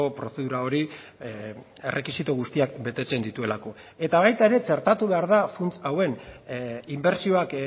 prozedura hori errekisito guztiak betetzen dituelako eta baita ere txertatu behar da funts hauen inbertsioak